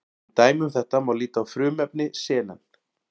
Sem dæmi um þetta má líta á frumefni selen.